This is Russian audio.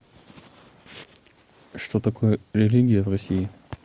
что такое религия в россии